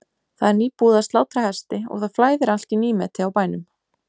Það er nýbúið að slátra hesti og það flæðir allt í nýmeti á bænum.